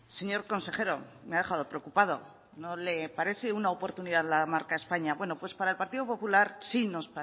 señor consejero me ha dejado preocupada no le parece una oportunidad la marca españa bueno pues para el partido popular sí nos